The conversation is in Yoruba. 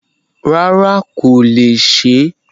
Rárá kò lè Ṣé.